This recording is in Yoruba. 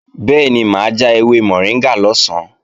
Bẹ́ẹ̀ni mà á ja ewé mọ̀ríngà lọ̀sán